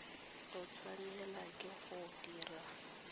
o tshwanela ke go dira